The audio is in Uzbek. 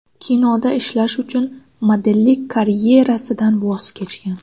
Kinoda ishlash uchun modellik karyerasidan voz kechgan.